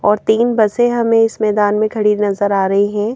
और तीन बसें हमें इस मैदान खड़ी नजर आ रही है।